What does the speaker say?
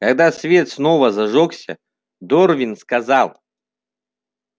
когда свет снова зажёгся дорвин сказал